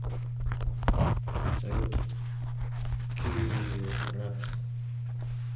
салют килрад